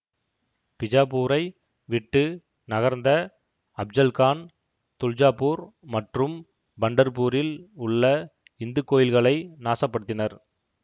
பிஜாப்பூரை விட்டு நகர்ந்த அப்ஜல்கான் துல்ஜாபூர் மற்றும் பண்டர்பூரில் உள்ள இந்து கோயில்களை நாசப்படுத்தினர்